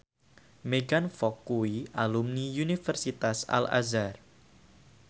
Megan Fox kuwi alumni Universitas Al Azhar